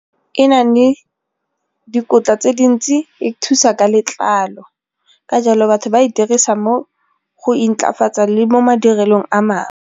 E na le dikotla tse dintsi, e thusa ka letlalo ka jalo batho ba e dirisa mo go intlafatsa le mo madirelong a mangwe.